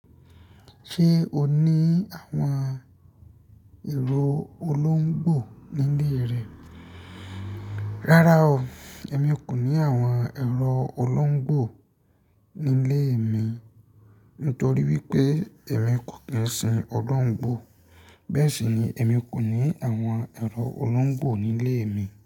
Ṣé o ní àwọn èrò olóńgbò nílé rẹ? Rárá o, èmi kò ní àwọn èrò olóńgbò nílé mi. Nítorí wípé èmi kò kí ń sin ọdún Òńgbo. Bẹ́ẹ̀ sì ni èmi kò ní àwọn èrò olóńgbò nílé mi.